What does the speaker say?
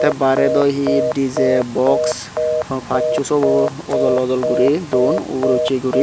bare dow he dj box pacho sobo ojol ojol guri dun uguro uche guri.